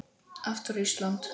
Aftur Ísland.